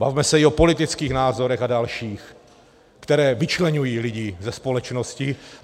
Bavme se i o politických názorech a dalších, které vyčleňují lidi ze společnosti.